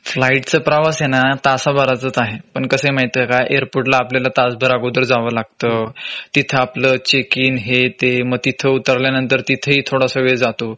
flight चा प्रवास आहे ना तासा भराचाच आहे. पण कसंय माहितीये का एअरपोर्ट ला आपल्याला तास भर अगोदर जावं लागत. तिथं आपलं चेक इन हे ते.मग तिथं उतरल्यानंतर तिथेही थोडासा वेळ जातो